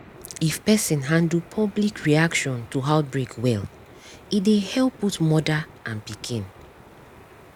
if person handle public reaction to outbreak welle dey help both mother and pikin